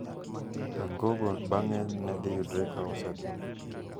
Kangogo bang'e nedhiyudre ka osetho,